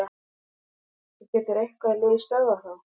Getur eitthvað lið stöðvað þá?